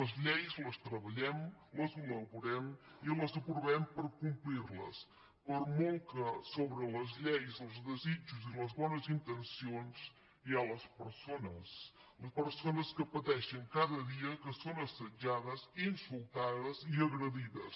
les lleis les treballem les elaborem i les aprovem per complir les per molt que per sobre de les lleis els desitjos i les bones intencions hi ha les persones les persones que pateixen cada dia que són assetjades insultades i agredides